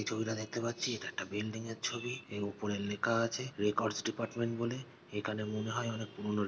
এই ছবিটা দেখতে পাচ্ছি এটা একটা বিল্ডিং এর ছবি এর উপরে লেখা আছে রেকর্ডস ডিপার্টমেন্ট বলে। এখানে মনে হয় অনেক পুরনো ।